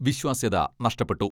വിശ്വാസ്യത നഷ്ടപ്പെട്ടു.